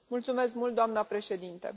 Mulțumesc mult doamna președintă.